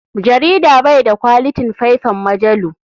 Jarida bai da kwalitin faifan majalu.